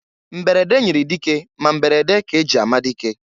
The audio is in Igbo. Mberede nyiri dike ma mberede ka e ji ama dike.